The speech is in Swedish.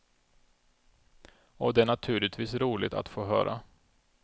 Och det är naturligtvis roligt att få höra.